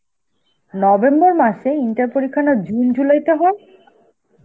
November মাসে? inter পরীক্ষা না June July তে হয়?